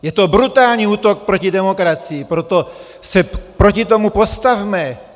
Je to brutální útok proti demokracii, proto se proti tomu postavme.